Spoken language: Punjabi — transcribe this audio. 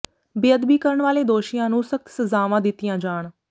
ਬੇਅਦਬੀ ਕਰਨ ਵਾਲੇ ਦੋਸ਼ੀਆਂ ਨੂੰ ਸਖ਼ਤ ਸਜ਼ਾਵਾਂ ਦਿੱਤੀਆਂ ਜਾਣ